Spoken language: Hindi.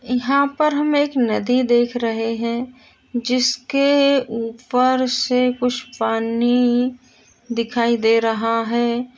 यहाँ पर हम एक नदी देख रहे है जिसके ऊपर से कुछ पानी दिखाई दे रहा है।